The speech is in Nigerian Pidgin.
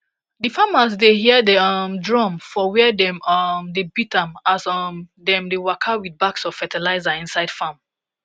d farmers da hear da um drum for wer dem um da beat am as um dem da waka with bags of fertilizer inside farm